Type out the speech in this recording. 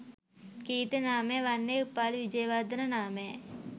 කීර්ති නාමය වන්නේ උපාලි විජේවර්ධන නාමයයි